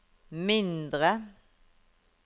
mindre